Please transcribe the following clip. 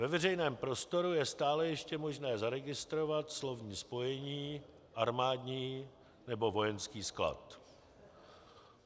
Ve veřejném prostoru je stále ještě možné zaregistrovat slovní spojení "armádní" nebo "vojenský" sklad.